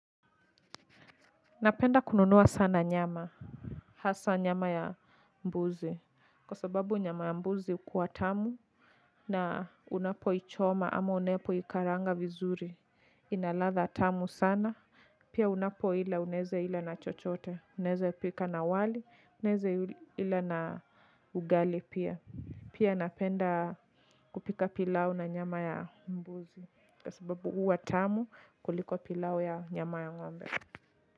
Napenda kununua sana nyama hasa nyama ya mbuzi, kwa sababu nyama ya mbuzi huwa tamu na unapoichoma ama unapo ikaranga vizuri inaladha tamu sana. Pia unapo ila unaeza ila na chochote, unaeza pika na wali, unaeza ila na ugali pia. Pia napenda kupika pilau na nyama ya mbuzi kwa sababu huwa tamu kuliko pilau ya nyama ya ngombe.